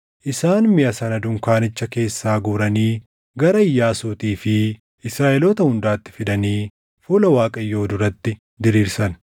Isaan miʼa sana dunkaanicha keessaa guuranii gara Iyyaasuutii fi Israaʼeloota hundaatti fidanii fuula Waaqayyoo duratti diriirsan.